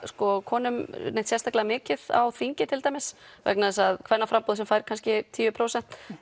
konum neitt sérstaklega mikið á þingi til dæmis vegna þess að kvennaframboð sem fær kannski tíu prósent